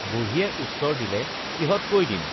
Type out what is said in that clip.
বুঢ়ীয়ে উত্তৰ দিলে কিহতকৈ দিম